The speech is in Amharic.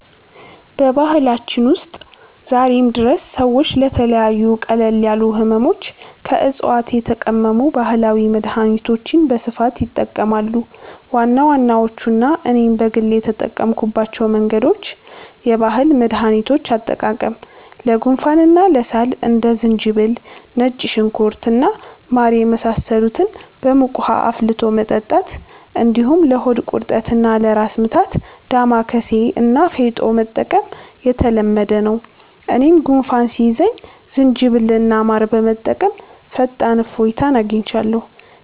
በባህላችን ውስጥ ዛሬም ድረስ ሰዎች ለተለያዩ ቀለል ያሉ ሕመሞች ከዕፅዋት የተቀመሙ ባህላዊ መድኃኒቶችን በስፋት ይጠቀማሉ። ዋና ዋናዎቹና እኔም በግል የተጠቀምኩባቸው መንገዶች፦ የባህል መድኃኒቶች አጠቃቀም፦ ለጉንፋንና ለሳል እንደ ዝንጅብል፣ ነጭ ሽንኩርት እና ማር የመሳሰሉትን በሙቅ ውኃ አፍልቶ መጠጣት፣ እንዲሁም ለሆድ ቁርጠትና ለራስ ምታት «ዳማከሴ» እና «ፌጦ» መጠቀም የተለመደ ነው። እኔም ጉንፋን ሲይዘኝ ዝንጅብልና ማር በመጠቀም ፈጣን እፎይታ አግኝቻለሁ።